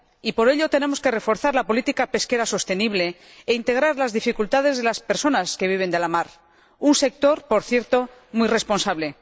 Y, por ello, tenemos que reforzar la política pesquera sostenible e integrar las dificultades de las personas que viven de la mar —un sector, por cierto, muy responsable—.